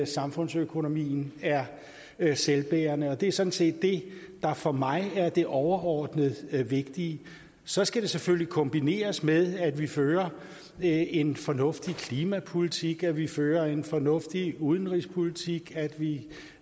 samfundsøkonomien er er selvbærende og det er sådan set det der for mig overordnet er det vigtige så skal det selvfølgelig kombineres med at vi fører en fornuftig klimapolitik at vi fører en fornuftig udenrigspolitik at vi